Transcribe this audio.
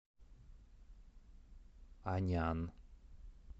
анян